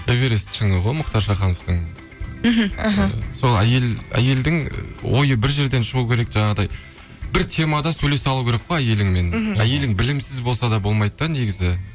эверест шыңы ғой мұхтар шахановтың мхм іхі сол әйелдің ойы бір жерден шығу керек жаңағыдай бір темада сөйлесе алу керек қой әйеліңмен мхм әйелің білімсіз болса да болмайды да негізі